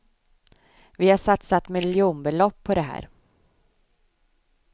Vi har satsat miljonbelopp på det här.